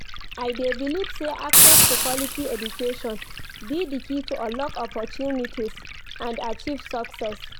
I dey believe say access to quality education be di key to unlock opportunities and achieve success.